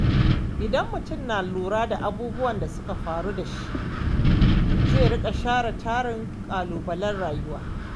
Idan mutum na lura da abubuwan da suka faru da shi, zai riƙa share tarin ƙalubalen rayuwa.